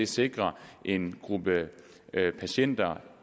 sikrer en gruppe patienter